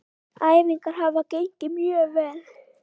Æfingar hafa gengið mjög vel.